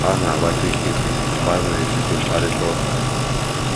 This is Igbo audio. Ọ na-agbachi nkịtị mgbe a nọ n’etiti mkparịta ụka.